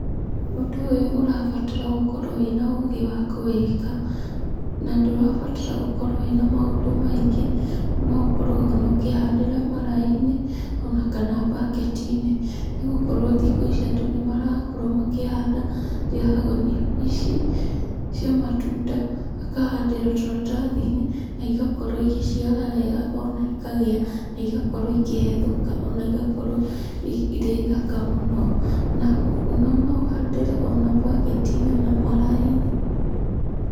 Ũndũ ũyũ ũrabatara ũkorwo wĩna ũgĩ wa kũwĩka, na ndũrabatara ũkorwo wĩna maũndũ maingĩ, no ũkorwo ũkĩhandĩra maraĩ-inĩ ona kana baketinĩ ,nĩgũkorwo thikũ ici andũ nĩmarakorwo makĩhanda ngiragũni ici cia matunda, makahandĩra tũratathinĩ na igakorwo igĩciara wega ona ikagĩa na igakorwo ikĩhethũka, ona igakorwo irĩ thaka mũno na ona no ũhandĩre mbaketinĩ ona marainĩ.